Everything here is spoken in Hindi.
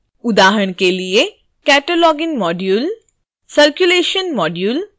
उदाहरण के लिए cataloging module circulation module